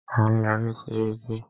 À ń lọ rí sẹ́ríkí.